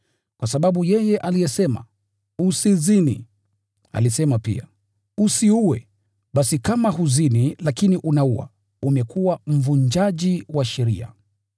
Kwa sababu yeye aliyesema, “Usizini,” alisema pia, “Usiue.” Basi kama huzini lakini unaua, umekuwa mvunjaji wa sheria.